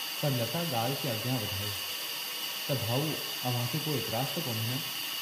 पर लता ॻाल्हि खे अॻियां वधायो, त भाउ अव्हांखे को एतिराज़ु त कोन्हे न?